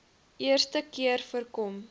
eerste keer voorkom